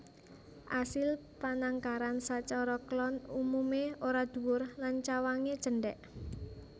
Asil panangkaran sacara klon umumé ora dhuwur lan cawangé cendhèk